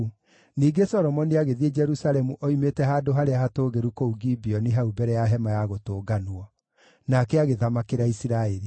Ningĩ Solomoni agĩthiĩ Jerusalemu oimĩte handũ harĩa hatũũgĩru kũu Gibeoni hau mbere ya Hema-ya-Gũtũnganwo. Nake agĩthamakĩra Isiraeli.